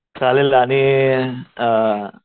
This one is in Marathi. चालेल आणि अ